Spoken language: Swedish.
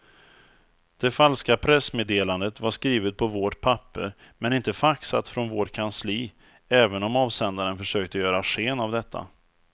Det falska pressmeddelandet var skrivet på vårt papper men inte faxat från vårt kansli även om avsändaren försökte göra sken av detta.